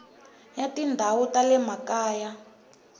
ya tindhawu ta le makaya